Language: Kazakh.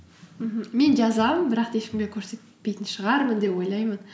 мхм мен жазамын бірақ та ешкімге көрсетпейтін шығармын деп ойлаймын